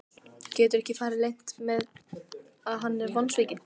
Getur ekki farið leynt með að hann er vonsvikinn.